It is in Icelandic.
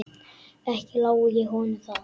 Ekki lái ég honum það.